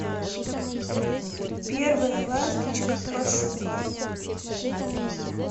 первая ласточка пошукай